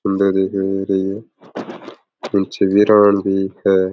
सुन्दर दिखाई दे रही है पीछे बिरं भी है।